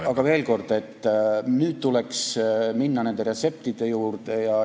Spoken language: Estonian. Aga veel kord, nüüd tuleks minna nende retseptide juurde.